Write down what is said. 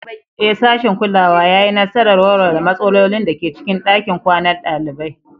Ee, sashin kulawa ya yi nasarar warware matsalolin da ke cikin ɗakin kwanan ɗalibai.